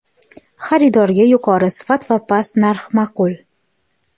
Xaridorga yuqori sifat va past narx ma’qul.